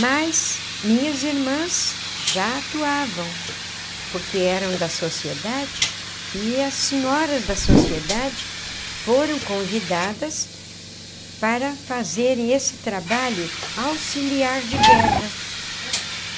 Mas minhas irmãs já atuavam, porque eram da sociedade, e as senhoras da sociedade foram convidadas para fazerem esse trabalho auxiliar de guerra.